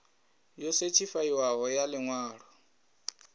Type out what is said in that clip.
yo sethifaiwaho ya ḽi ṅwalo